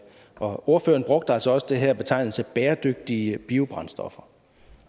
og ordføreren brugte altså også den her betegnelse bæredygtige biobrændstoffer